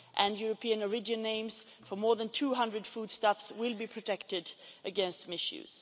European origin names for more than 200 foodstuffs will be protected against misuse.